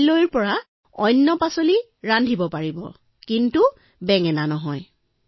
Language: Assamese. কাইলৈ বেলেগ পাচলিৰ ব্যঞ্জন ৰান্ধিবা কিন্তু বেঙেনা নহয়